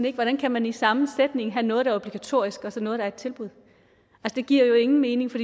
ikke hvordan kan man i samme sætning have noget der er obligatorisk og så noget der er et tilbud det giver jo ingen mening for